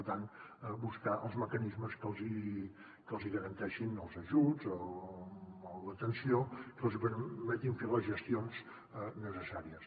per tant buscar els mecanismes que els hi garantei·xin els ajuts o l’atenció que els hi permeti fer les gestions necessàries